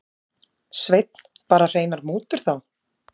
Sveinn: Bara hreinar mútur þá?